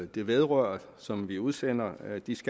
det vedrører og som vi udsender